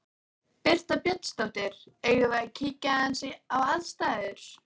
Birta Björnsdóttir: Eigum við að kíkja aðeins á aðstæður?